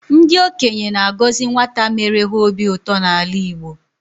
Ndị okenye na-agọzi nwata mere ha obi ụtọ n'ala Igbo.